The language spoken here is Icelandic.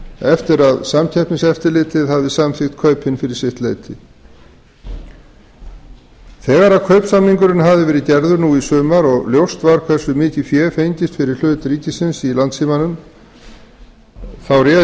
eftir að samkeppniseftirlitið hafði samþykkt kaupin fyrir sitt leyti þegar kaupsamningurinn hafði verið gerður nú í sumar og var ljóst var hversu mikið fé fengist fyrir hlut ríkisins í landssímanum þá réð